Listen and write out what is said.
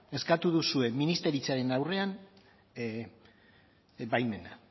eskatu duzue ministeritzaren aurrean baimena